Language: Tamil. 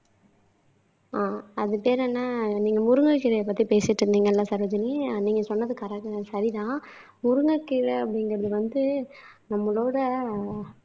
ஆஹ் அது பேரு என்ன நீங்க முருங்கை கீரைய பத்தி பேசிட்டு இருந்தீங்கல்ல சரோஜினி நீங்க சொன்னது கரெ சரிதான் முருங்கைக்கீரை அப்படிங்கிறது வந்து நம்மளோட